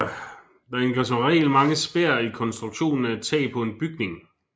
Der indgår som regel mange spær i konstruktionen af et tag på en bygning